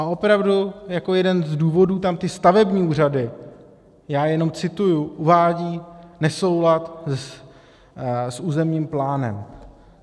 A opravdu jako jeden z důvodů tam ty stavební úřady, já jenom cituji, uvádějí nesoulad s územním plánem.